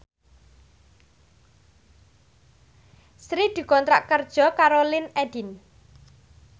Sri dikontrak kerja karo Linkedin